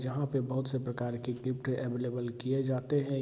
जहां पर बहुत से प्रकार की गिफ्ट अवेलेबल किए जाते है।